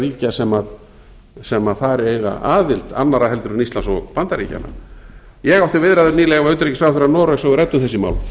ríkja sem þar eiga aðild annarra en íslands og bandaríkjanna ég átti viðræður nýlega við utanríkisráðherra noregs og við ræddum þessi mál